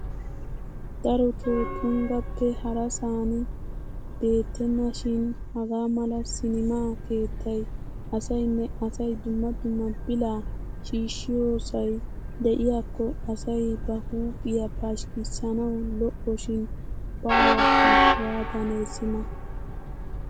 Darotoo tunggappe harasaan beettenashin hagaa mala sinimaa keettay asaynne asay dumma dumma bilaa shiishshiyosay diyakko asay ba huuphphiya pashshikisanawu lo'oshiin baawakka waatanee sima.